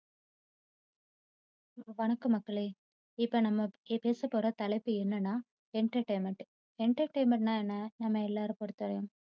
வணக்கம் மக்களே, இப்போ நம்ம பேசப்போற தலைப்பு என்னென்னா entertainment entertainment ன்னா என்ன? நம்ம எல்லாரையும் பொறுத்தவரையும்